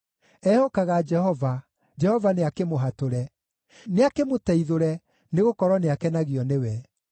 “Ehokaga Jehova; Jehova nĩakĩmũhatũre. Nĩakĩmũteithũre, nĩgũkorwo nĩakenagio nĩwe.”